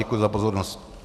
Děkuji za pozornost.